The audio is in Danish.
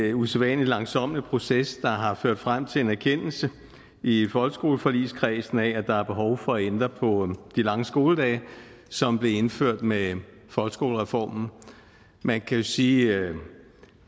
en usædvanlig langsommelig proces der har ført frem til en erkendelse i folkeskoleforligskredsen af at der er behov for at ændre på de lange skoledage som blev indført med folkeskolereformen man kan jo sige at